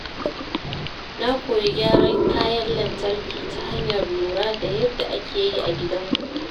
Na koyi gyaran kayan lantarki ta hanyar lura da yadda ake yi a gidanmu.